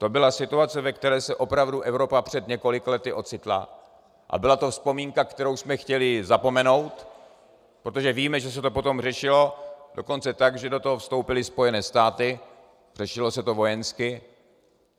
To byla situace, ve které se opravdu Evropa před několika lety ocitla, a byla to vzpomínka, kterou jsme chtěli zapomenout, protože víme, že se to potom řešilo dokonce tak, že do toho vstoupily Spojené státy, řešilo se to vojensky.